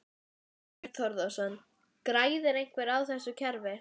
Þorbjörn Þórðarson: Græðir einhver á þessu kerfi?